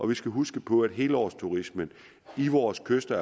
vi skal huske på at helårsturismen ved vores kyster